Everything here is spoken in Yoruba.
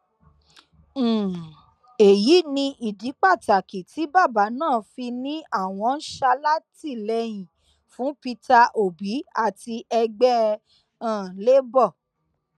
um èyí ni ìdí pàtàkì tí bàbá ná fi ni àwọn ń ṣàtìlẹyìn fún peter obi àti ẹgbẹ um labour